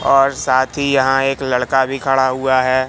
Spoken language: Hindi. और साथी ही यहां एक लड़का भी खड़ा हुआ है।